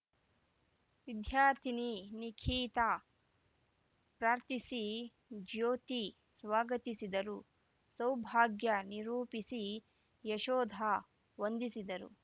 ವಿದ್ಯಾರ್ಥಿನಿ ನಿಖಿತಾ ಪ್ರಾರ್ಥಿಸಿ ಜ್ಯೋತಿ ಸ್ವಾಗತಿಸಿದರು ಸೌಭಾಗ್ಯ ನಿರೂಪಿಸಿ ಯಶೋಧ ವಂದಿಸಿದರು